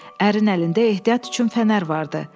Ərin əlində ehtiyat üçün fənər vardı.